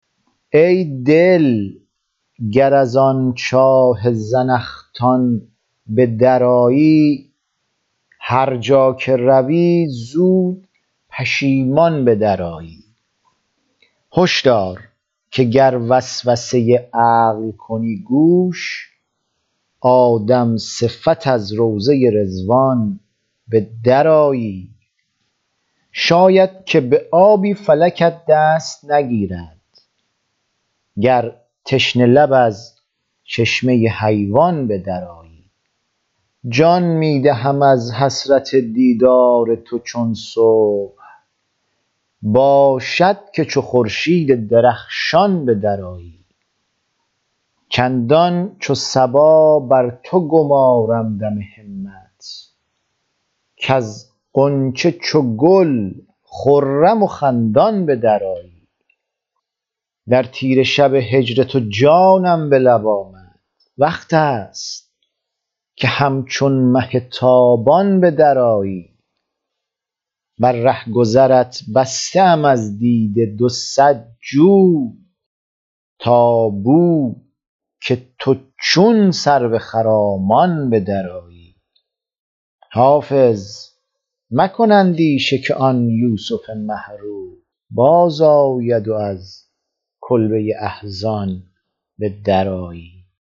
ای دل گر از آن چاه زنخدان به درآیی هر جا که روی زود پشیمان به درآیی هش دار که گر وسوسه عقل کنی گوش آدم صفت از روضه رضوان به درآیی شاید که به آبی فلکت دست نگیرد گر تشنه لب از چشمه حیوان به درآیی جان می دهم از حسرت دیدار تو چون صبح باشد که چو خورشید درخشان به درآیی چندان چو صبا بر تو گمارم دم همت کز غنچه چو گل خرم و خندان به درآیی در تیره شب هجر تو جانم به لب آمد وقت است که همچون مه تابان به درآیی بر رهگذرت بسته ام از دیده دو صد جوی تا بو که تو چون سرو خرامان به درآیی حافظ مکن اندیشه که آن یوسف مه رو بازآید و از کلبه احزان به درآیی